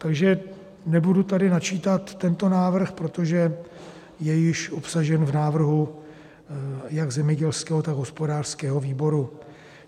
Takže nebudu tady načítat tento návrh, protože je již obsažen v návrhu jak zemědělského, tak hospodářského výboru.